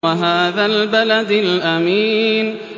وَهَٰذَا الْبَلَدِ الْأَمِينِ